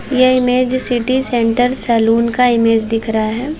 यह image city centre salon का image दिख रहा है।